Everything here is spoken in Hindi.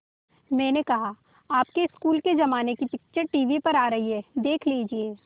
मैंने कहा आपके स्कूल के ज़माने की पिक्चर टीवी पर आ रही है देख लीजिये